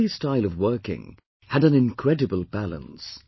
Gandhi's style of working had an incredible balance